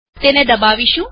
એને દબાવીએ